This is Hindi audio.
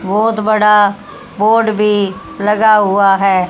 बहुत बड़ा बोर्ड भी लगा हुआ है।